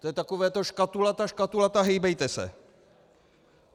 To je takové to škatulata, škatulata, hejbejte se.